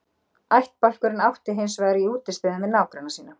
Ættbálkurinn átti hins vegar í útistöðum við nágranna sína.